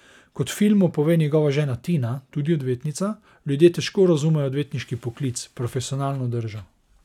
Kot v filmu pove njegova žena Tina, tudi odvetnica, ljudje težko razumejo odvetniški poklic, profesionalno držo.